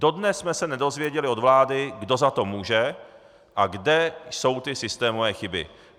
Dodnes jsme se nedozvěděli od vlády, kdo za to může a kde jsou ty systémové chyby.